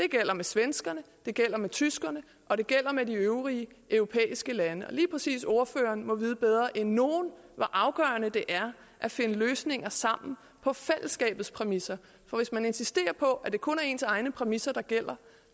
det gælder med svenskerne det gælder med tyskerne og det gælder med de øvrige europæiske lande og lige præcis ordføreren må jo vide bedre end nogen hvor afgørende det er at finde løsninger sammen på fællesskabets præmisser for hvis man insisterer på at det kun er ens egne præmisser der gælder